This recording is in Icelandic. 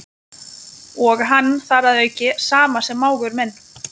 Og hann þar að auki sama sem mágur minn.